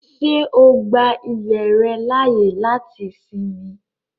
Ṣé o gbà ilẹ̀ rẹ laáyè láti sínmì?